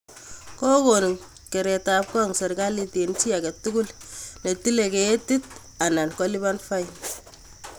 Kokon keretab gong serkalit eng chi age tugul ne tilei ketik anan kolipan fain